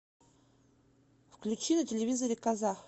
включи на телевизоре казах